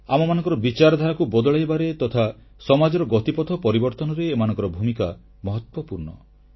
ଆମମାନଙ୍କର ବିଚାରଧାରାକୁ ବଦଳାଇବାରେ ତଥା ସମାଜର ଗତିପଥ ପରିବର୍ତ୍ତନରେ ଏମାନଙ୍କର ଭୂମିକା ମହତ୍ୱପୂର୍ଣ୍ଣ